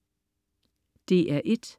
DR1: